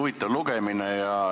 Huvitav lugemine.